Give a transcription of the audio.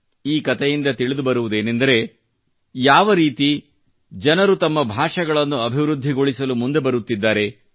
ಈ ಕತೆಯಿಂದ ತಿಳಿದುಬರುವುದೇನಂದರೆ ಯಾವ ರೀತಿ ಜನರು ತಮ್ಮ ಭಾಷೆಗಳನ್ನು ಅಭಿವೃದ್ಧಿಗೊಳಿಸಲು ಮುಂದೆ ಬರುತ್ತಿದ್ದಾರೆ